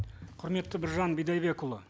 құрметті біржан бидайбекұлы